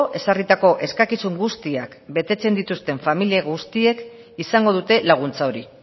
ezarritako eskakizun guztiak betetzen dituzten familia guztiek izango dute laguntza hori